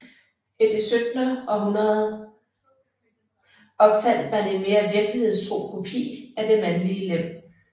I det 1700 århundrede opfandt man en mere virkelighedstro kopi af det mandlige lem